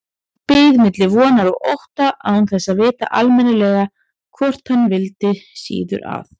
Beið milli vonar og ótta, án þess að vita almennilega hvort hann vildi síður að